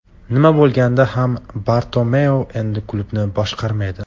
Nima bo‘lganda ham Bartomeu endi klubni boshqarmaydi.